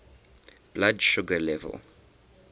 blood sugar level